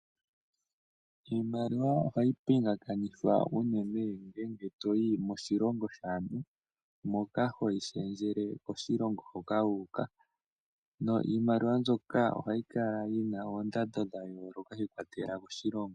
Iimaliwa ohayi pingakanithwa unene ngele to yi moshilongo shaantu moka hoyi shendjele koshilongo hoka wu uka, no iimaliwa mbyoka ohayi kala yi na oondando dha yooloka shi ikwatelela koshilongo.